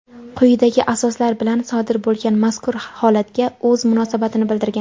quyidagi asoslar bilan sodir bo‘lgan mazkur holatga o‘z munosabatini bildirgan.